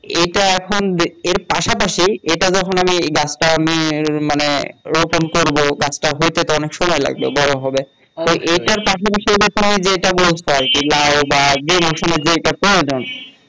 এটা এখন এর পাশাপাশি এটা যখন আমি গাছটা আমি মানে রোপন করবো গাছটা হইতে তো অনেক সময় লাগবে বড় হবে এটা এটার পাশাপাশি যেটা বসাতে পারে লাও বা যে মৌসুমে যেটা প্রয়োজন